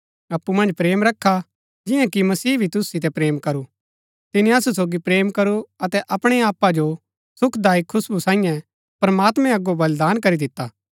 अप्पु मन्ज प्रेम रखा जिआं कि मसीह भी तुसु सितै प्रेम करू तिनी असु सोगी प्रेम करू अतै अपणै आपा जो सुखदायक खुशबु सांईये प्रमात्मैं अगो बलिदान करी दिता